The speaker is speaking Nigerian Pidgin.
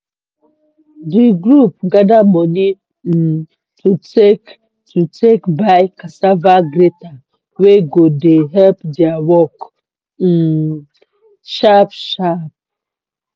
di group gather money um to take to take buy cassava grater wey go dey help dia work um sharp sharp.